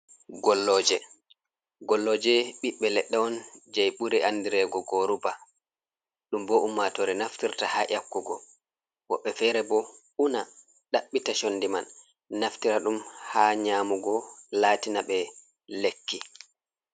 Golloje, golloje ɓiɓbe leɗɗe on jei ɓuri andirego goruba ɗum bo ummatore naftirta ha yakkugo, woɓɓe fere bo una ɗabɓita condi man naftira ɗum ha nyamugo latina ɓe lekki.